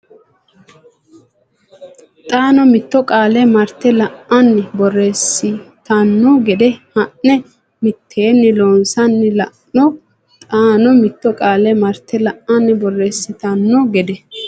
xaano mitto qaale marte la anni borreessitanno gede haa ne mitteenni loonsanni la no xaano mitto qaale marte la anni borreessitanno gede.